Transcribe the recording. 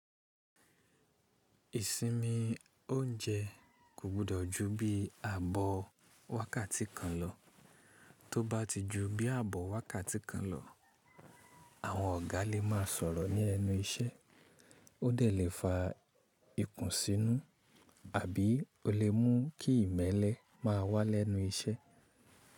Ìsinmi oúnjẹ kò gbọdọ̀ ju bí i ààbò wákàtí kan lọ. Tó bá ti ju bí i àbọ̀ wákàtí kan lọ, àwọn ọ̀gá lè máa sọ̀rọ̀ ní ẹnu iṣẹ́, o dẹ̀ le fa ikùn sínú, àbí o lè mú kí ìmẹ́lẹ́ máa wá lẹ́nu iṣẹ́.